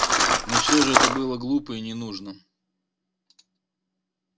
но всё же это было глупо и не нужно